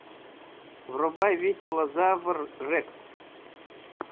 врубай веселозавр рекс